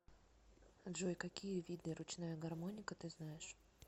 джой какие виды ручная гармоника ты знаешь